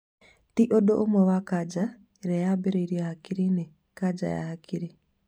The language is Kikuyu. Tĩ ũndũ ũmwe na kanja ĩrĩa yambirie hakiri-inĩ(kanja ya hakiri)